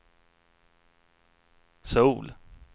Söul